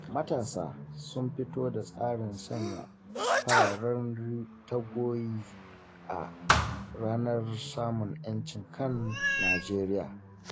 Matasa sun fito da tsarin sanya fararen taguwoyi a ranar samun 'yancin kan Nijeriya.